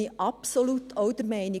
Ich bin absolut auch dieser Meinung.